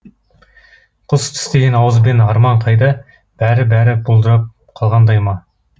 құс тістеген ауызбен арман қайда бәрі бәрі бұлдырап қалғандай ма